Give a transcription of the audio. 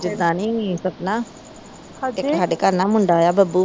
ਜਿਦਾ ਨਹੀਂ ਸਪਨਾ ਇਕ ਹਾਡੇ ਘਰ ਨਾ ਮੁੰਡਾ ਆਇਆ ਬੱਬੂ।